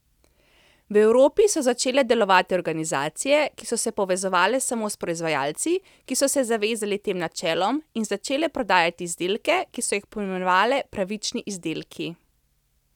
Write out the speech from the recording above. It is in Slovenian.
V Evropi so začele delovati organizacije, ki so se povezovale samo s proizvajalci, ki so se zavezali tem načelom, in začele prodajati izdelke, ki so jih poimenovale pravični izdelki.